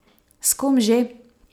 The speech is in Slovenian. S kom že?